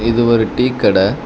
இது ஒரு டீ கட.